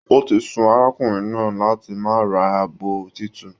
O tí su arákùnrin náà láti máa ra abọ títún.